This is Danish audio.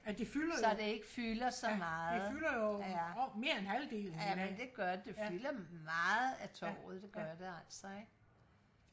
så det ikke fylder så meget ja ja det gør det det fylder meget af torvet det gør det altså ikke